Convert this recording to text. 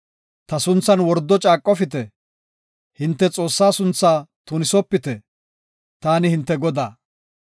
“Ta sunthan wordo caaqofite; hinte Xoossaa sunthaa tunisopite. Taani hinte Godaa.